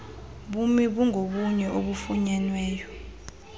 bumi bungobunye obufunyenweyo